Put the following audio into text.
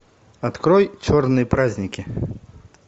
открой черные праздники